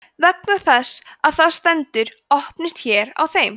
vegna þess að það stendur „opnist hér“ á þeim